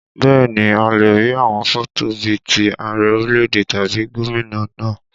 Bẹ́ẹ̀ ni, a lè rí àwọn fọ́tò bí ti Ààrẹ orílẹ̀èdè tàbí gómìnà náà